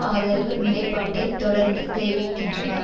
ஆதரவு நிலைப்பாட்டை தொடர்ந்து தெரிவிக்கின்றனர்